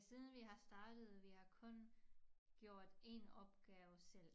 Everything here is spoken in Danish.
Siden vi har startet vi har kun gjort én opgave selv